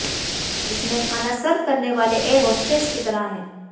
इसमें खाना सर्व करने वाले एयर होस्टेस की तरह हैं